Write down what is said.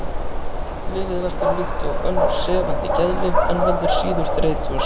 Lyfið verkar líkt og önnur sefandi geðlyf en veldur síður þreytu og syfju.